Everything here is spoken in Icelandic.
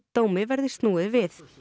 dómi verði snúið við